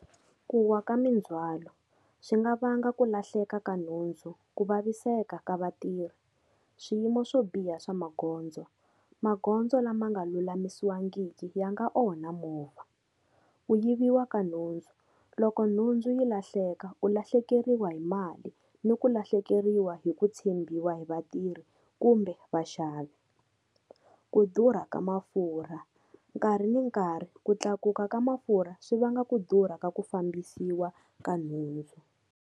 Ku wa ka mindzwalo swi nga vanga ku lahleka ka nhundzu, ku vaviseka ka vatirhi. Swiyimo swo biha swa magondzo, magondzo lama nga lulamisiwangiki ya nga onha movha. Ku yiviwa ka nhundzu, loko nhundzu yi lahleka u lahlekeriwa hi mali ni ku lahlekeriwa hi ku tshembiwa hi vatirhi kumbe vaxavi. Ku durha ka mafurha, nkarhi ni nkarhi ku tlakuka ka mafurha swi vanga ku durha ka ku fambisiwa ka nhundzu.